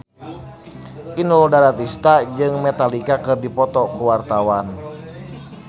Inul Daratista jeung Metallica keur dipoto ku wartawan